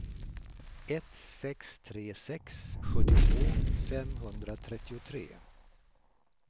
ett sex tre sex sjuttiotvå femhundratrettiotre